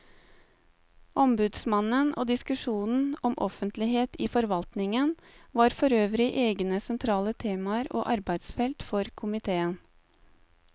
Ombudsmannen og diskusjonen om offentlighet i forvaltningen var forøvrig egne sentrale temaer og arbeidsfelt for komiteen.